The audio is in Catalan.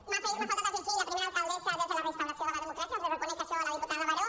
m’ha faltat afegir la primera alcaldessa des de la restauració de la democràcia li reconec això a la diputada baró